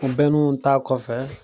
ta kɔfɛ